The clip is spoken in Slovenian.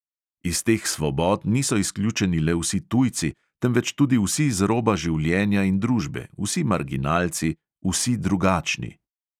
Iz teh svobod niso izključeni le vsi tujci, temveč tudi vsi z roba življenja in družbe, vsi marginalci, vsi drugačni.